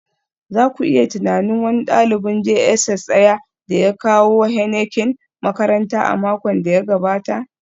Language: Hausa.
za ku iya tunanin, wani dalibin JSS Daya ya kawo Heineken makaranta a makon da ya gabata